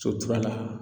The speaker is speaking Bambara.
So turula